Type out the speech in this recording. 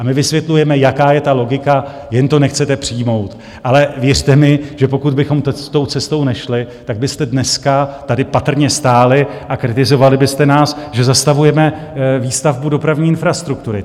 A my vysvětlujeme, jaká je ta logika, jen to nechcete přijmout, ale věřte mi, že pokud bychom tou cestou nešli, tak byste dneska tady patrně stáli a kritizovali byste nás, že zastavujeme výstavbu dopravní infrastruktury.